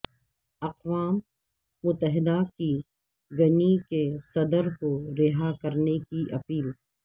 اقوام متحدہ کی گنی کے صدر کو رہا کرنے کی اپیل